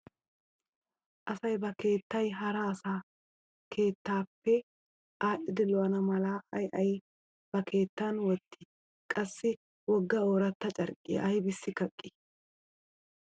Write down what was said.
Asay ba keettay hara asaa keettaappe aadhdhidi lo'ana mala ay ay ba keettan wottii? Qassi wogga ooratta carqqiya aybissi kaqqii?